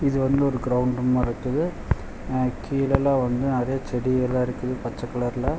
இது வந்து ஒரு கிரௌண்ட் மார்ருக்குது. கிழல்லா வந்து நெறைய செடி எல்லா இருக்குது பச்ச கலர்ல .